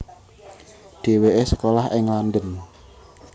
Dhéwéké sekolah ing London